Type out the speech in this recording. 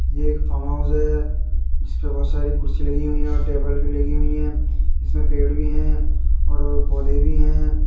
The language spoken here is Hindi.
ये एक फार्म हाउस है जिस पे बहोत सारी कुर्सी लगी हुई हैं और टेबल भी लगी हुई हैं। जिसमें पेड़ भी हैं और पौधेे भी हैं।